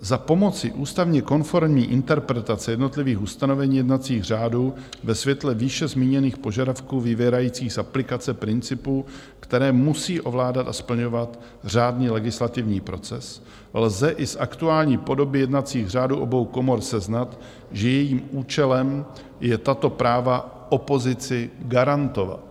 Za pomoci ústavně konformní interpretace jednotlivých ustanovení jednacích řádů ve světle výše zmíněných požadavků vyvěrajících z aplikace principů, které musí ovládat a splňovat řádný legislativní proces, lze i z aktuální podoby jednacích řádů obou komor seznat, že jejím účelem je tato práva opozici garantovat.